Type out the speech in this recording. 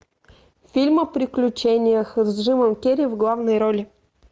фильм о приключениях с джимом керри в главной роли